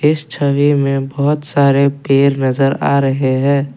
इस छवि में बहोत सारे पेर नजर आ रहे हैं।